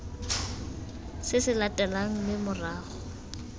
se se latelang mme morago